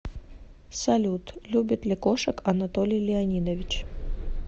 салют любит ли кошек анатолий леонидович